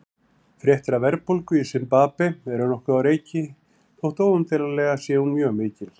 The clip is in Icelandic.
Fréttir af verðbólgu í Simbabve eru nokkuð á reiki þótt óumdeilanlega sé hún mjög mikil.